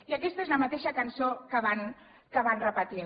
i aquesta és la mateixa cançó que van repetint